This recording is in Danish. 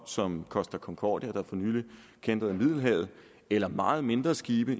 som costa concordia der for nylig kæntrede i middelhavet eller meget mindre skibe